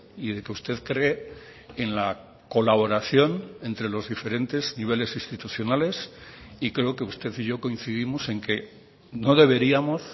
y de que usted cree en la colaboración entre los diferentes niveles institucionales y creo que usted y yo coincidimos en que no deberíamos